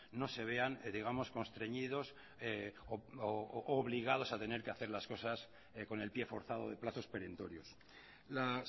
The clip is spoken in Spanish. no se vean digamos constreñidos u obligados a tenerque hacer las cosas con el pie forzado de plazos perentorios la